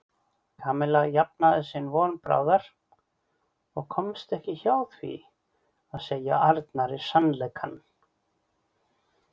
Kamilla jafnaði sig von bráðar og komst ekki hjá því að segja Arnari sannleikann.